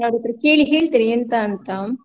ನಾನ್ ಅವ್ರ ಹತ್ರ ಕೇಳ್ತೇನೆ ಎಂತ ಅಂತ.